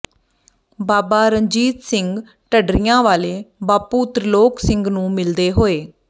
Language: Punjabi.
ਬਾਬਾ ਰਣਜੀਤ ਸਿੰਘ ਢੱਡਰੀਆਂ ਵਾਲੇ ਬਾਪੂ ਤ੍ਰਿਲੋਕ ਸਿੰਘ ਨੂੰ ਮਿਲਦੇ ਹੋਏ